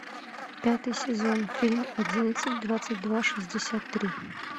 пятый сезон фильм одиннадцать двадцать два шестьдесят три